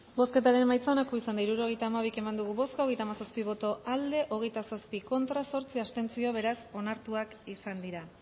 bozketaren emaitza onako izan da hirurogeita hamabi eman dugu bozka hogeita hamazazpi boto aldekoa hogeita zazpi contra zortzi abstentzio beraz onartuak izan dira